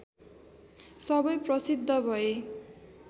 सबै प्रसिद्ध भए